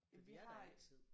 Jamen vi har